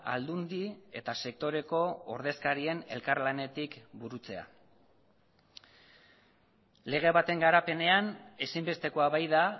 aldundi eta sektoreko ordezkarien elkarlanetik burutzea lege baten garapenean ezinbestekoa baita